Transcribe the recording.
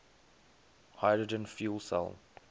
hydrogen fuel cell